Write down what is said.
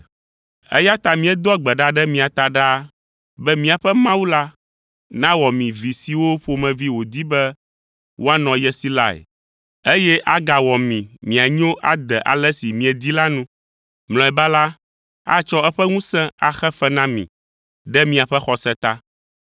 Eya ta míedoa gbe ɖa ɖe mia ta ɖaa be míaƒe Mawu la nawɔ mi vi siwo ƒomevi wòdi be woanɔ ye si lae, eye agawɔ mi mianyo ade ale si miedi la nu! Mlɔeba la, atsɔ eƒe ŋusẽ axe fe na mi ɖe miaƒe xɔse ta.